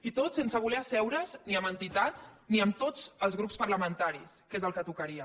i tot sense voler asseure’s ni amb entitats ni amb tots els grups parlamentaris que és el que tocaria